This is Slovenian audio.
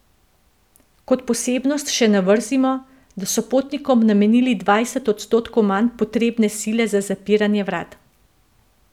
Kot posebnost še navrzimo, da so potnikom namenili dvajset odstotkov manj potrebne sile za zapiranje vrat.